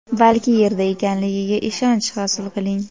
balki yerda ekanligiga ishonch hosil qiling.